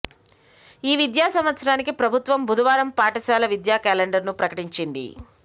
ఈ విద్యా సంవత్సరానికి ప్రభుత్వం బుధవారం పాఠశాల విద్యా కేలండర్ను ప్రకటించింది